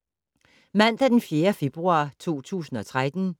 Mandag d. 4. februar 2013